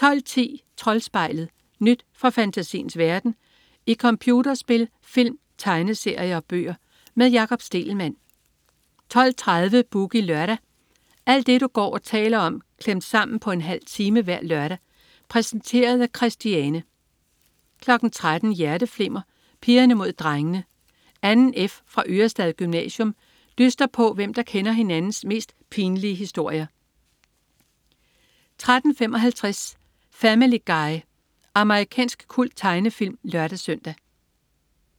12.10 Troldspejlet. Nyt fra fantasiens verden i computerspil, film, tegneserier og bøger. Med Jakob Stegelmann 12.30 Boogie Lørdag. Alt det du går og taler om klemt sammen på en halv time hver lørdag. Præsenteret af Christiane 13.00 Hjerteflimmer: Pigerne mod drengene. 2. F fra Ørestad Gymnasium dyster på, hvem der kender hinandens mest pinlige historier 13.35 Family Guy. Amerikansk kulttegnefilm (lør-søn)